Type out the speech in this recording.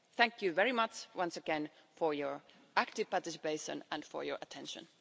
Thank you very much once again for your active participation and for your attention.